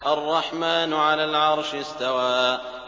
الرَّحْمَٰنُ عَلَى الْعَرْشِ اسْتَوَىٰ